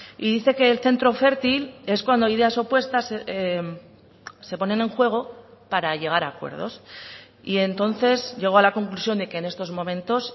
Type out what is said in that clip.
y dice que el centro fértil es cuando ideas opuestas se ponen en juego para llegar a acuerdos y entonces llego a la conclusión de que en estos momentos